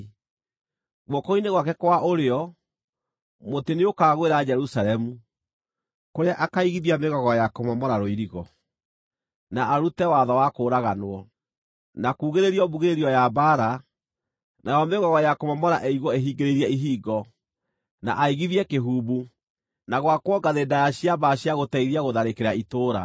Guoko-inĩ gwake kwa ũrĩo, mũtĩ nĩũkagwĩra Jerusalemu, kũrĩa akaigithia mĩgogo ya kũmomora rũirigo, na arute watho wa kũũraganwo, na kuugĩrĩrio mbugĩrĩrio ya mbaara, nayo mĩgogo ya kũmomora ĩigwo ĩhingĩrĩirie ihingo, na aigithie kĩhumbu, na gwakwo ngathĩ ndaaya cia mbaara cia gũteithia gũtharĩkĩra itũũra.